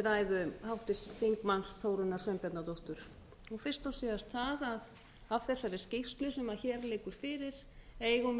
ræðu háttvirts þingmanns þórunnar sveinbjarnardóttur fyrst og síðast það að af þessari skýrslu sem hér liggur fyrir eigum við